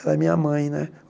Ela é minha mãe, né?